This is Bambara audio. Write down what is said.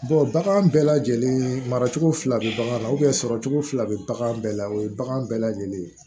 bagan bɛɛ lajɛlen maracogo fila bɛ bagan na sɔrɔcogo fila bɛ bagan bɛɛ la o ye bagan bɛɛ lajɛlen ye